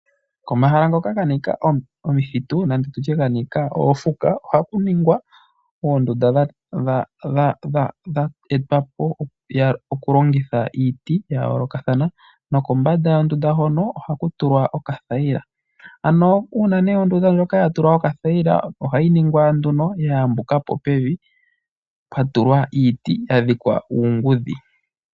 Komahala ngoka ga nika omithitu nenge oofuka ohaku ningwa oondunda dha etwa po melongitho lyiiti ya yoolokathana nokombanda yondunda hono ohaku tulwa okathayila. Uuna ondunda ndjoka ya tulwa okathayila ohayi ningwa nduno ya yambuka po pevi pwa tulwa iiti ya dhikwa uungudhi.